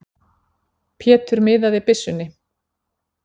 Pétur miðaði byssunni.